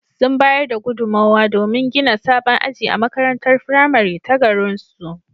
Sun bayar da gudunmowa domin gina sabon aji a makarantar firamare ta garinsu.